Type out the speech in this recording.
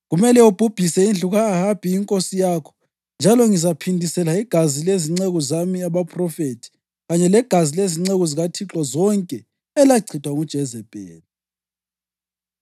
Kumele ubhubhise indlu ka-Ahabi inkosi yakho, njalo ngizaphindisela igazi lezinceku zami abaphrofethi kanye legazi lezinceku zikaThixo zonke elachithwa nguJezebheli.